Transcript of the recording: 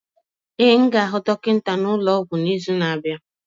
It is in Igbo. Ee, m ga-aga hụ dọkịta n'ụlọ ọgwụ n'izu na-abịa.